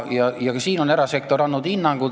Ka siin on erasektor andnud hinnangu.